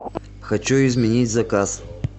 хочу изменить заказ